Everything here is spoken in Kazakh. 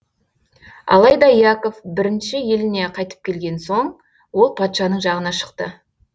алайда яков бірінші еліне қайтып келген соң ол патшаның жағына шықты